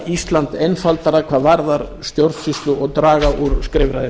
ísland einfaldara hvað varðar stjórnsýslu og draga úr skrifræði